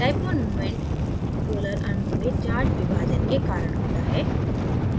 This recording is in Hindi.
dipole momentपोलर अणुओं में charge विभाजन के कारण होता है